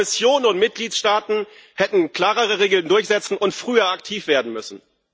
Kommission und Mitgliedstaaten hätten klarere Regeln durchsetzen und früher aktiv werden müssen.